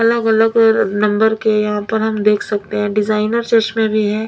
अलग अलग ए नंबर के यहाँ पर हम देख सकते हैं डिज़ाइनर चश्मे भी हैं।